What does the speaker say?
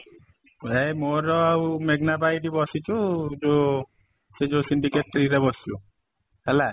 ଏଇ ମୋର ଆଉ ମେଘନା ଅପା ଏଠି ବସିଛୁ ଯୋଉ ସେଇ ଯୋଉ ରେ ବସିଛୁ ହେଲା